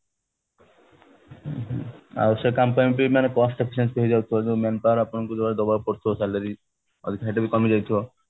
ଆଉ ସେଇ କାମ ପାଇଁ cost efficiency ବି ହେଇ ଯାଉଥିବ manpower ଆପଣଙ୍କୁ ଯୋଉଟା ଦବାକୁ ପଡୁଥିବ salary ସେଇଟା ବି କମି ଯାଇଥିବ